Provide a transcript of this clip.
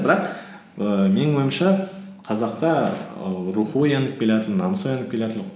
бірақ ііі менің ойымша қазақта ііі рухы оянып келатыр намысы оянып келатыр